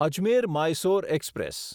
Ajmer Mysore express